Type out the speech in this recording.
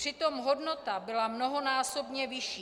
Přitom hodnota byla mnohonásobně vyšší.